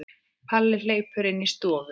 Palli hleypur inn í stofu.